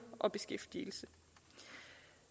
og beskæftigelsen